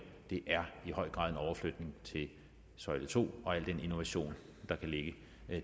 det er i høj grad en overflytning til søjle to og al den innovation der kan ligge